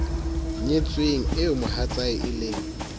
nyetsweng eo mohatsae e leng